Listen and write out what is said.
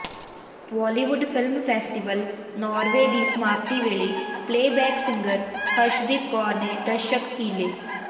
Bollywood film festival Norway ਦੀ ਸਮਾਪਤੀ ਵੇਲੇ ਪਲੇਅਬੈਕ ਸਿੰਗਰ ਹਰਸ਼ਦੀਪ ਕੌਰ ਨੇ ਦਰਸ਼ਕ ਕੀਲੇ